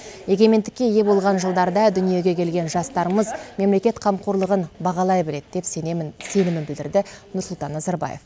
егемендікке ие болған жылдарда дүниеге келген жастарымыз мемлекет қамқорлығын бағалай біледі деп сенімін білдірді нұрсұлтан назарбаев